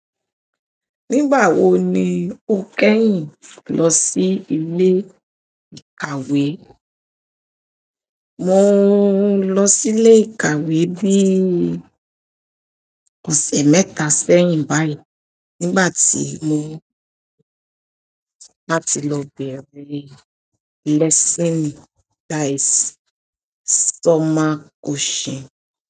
Nígbà wo ni o kẹ́yìn lọ sí ilé ìkàwé? Mo lọ sí ilé ìkàwé bí ọ̀sẹ̀ mẹ́ta sẹ́yìn báyìí nígbà tí mo bá ti lọ bẹ̀rẹ̀ lesson, that is summer coaching.